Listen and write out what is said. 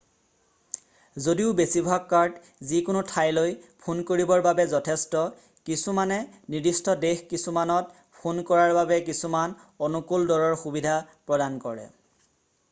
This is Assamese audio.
যদিও বেছিভাগ কাৰ্ড যিকোনো ঠাইলৈ ফোন কৰিবৰ বাবে যথেষ্ট কিছুমানে নিৰ্দিষ্ট দেশ কিছুমানত ফোন কৰাৰ বাবে কিছুমান অনুকূল দৰৰ সুবিধা প্ৰদান কৰে